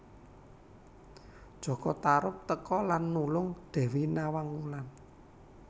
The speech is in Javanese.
Jaka Tarub teka lan nulung Dewi Nawang Wulan